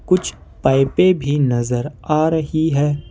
कुछ पाइपें भी नजर आ रही है ।